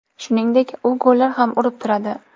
Shuningdek, u gollar ham urib turadi.